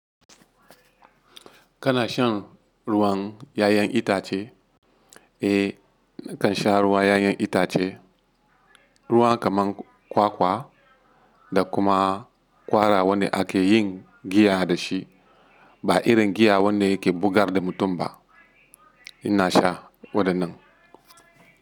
Kana shan ruwan 'ya'yan itace? Eh nakan sha ruwan 'ya'yan itace. Ruwan kamar kwakwa da kuma ƙwara wanda ake yin giya da shi ba irin giya wanda ke bugar da mutum ba. Ina sha waɗannan.